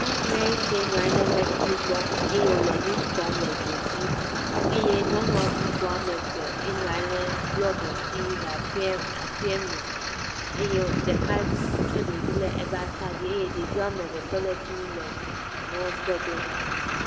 Nyɔnu lee ke nɔa nyi lee emlɛkpui gbɔ eye wòle nu tɔm le edzo dzi eye nyɔnua bubu ame eve enɔa nyi lee blɔki dzi le aƒea aƒeame eye ɖeka tsɔ ɖevi le eƒe atadzi eye ɖevi ame eve tɔ le fi mi le enua kpɔ ɖo ɖa.